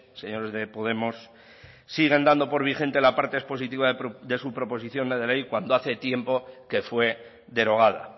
señores de podemos siguen dando por vigente la parte expositiva de su proposición no de ley cuando hace tiempo que fue derogada